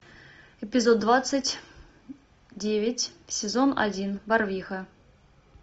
эпизод двадцать девять сезон один барвиха